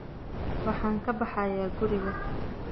Waxaan ka baxayaa guriga